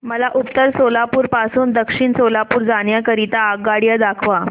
मला उत्तर सोलापूर पासून दक्षिण सोलापूर जाण्या करीता आगगाड्या दाखवा